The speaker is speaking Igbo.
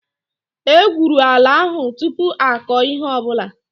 E gwụrụ ala ahu tụpụ akọ ihe ọbụla